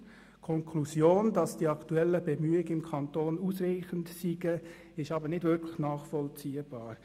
Die Konklusion, dass die aktuellen Bemühungen im Kanton ausreichend seien, ist aber nicht wirklich nachvollziehbar.